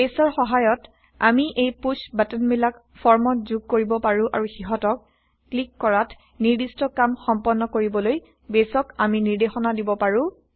বেইছৰ সহায়ত আমি এই পুশ্ব বাটনবিলাক ফৰ্মত যোগ কৰিব পাৰো আৰু সিহঁতক ক্লিক কৰাত নিৰ্দিষ্ট কাম সম্পন্ন কৰিবলৈ বেইছক আমি নিৰ্দেশনা দিব পাৰো